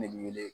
Ne bi wele